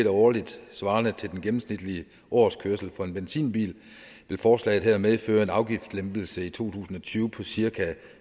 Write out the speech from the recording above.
årligt svarende til den gennemsnitlige årskørsel for en benzinbil vil forslaget her medføre en afgiftslempelse i to tusind og tyve på cirka